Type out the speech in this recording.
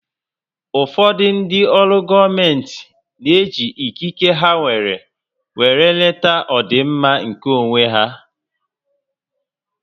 Ụfọdụ ndị ọrụ gọọmenti n'eji ikike ha nwèrè wéré eleta ọdịmma nkè onwé há